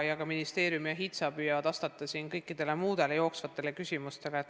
Ka ministeerium ja HITSA püüavad vastata kõikidele jooksvatele küsimustele.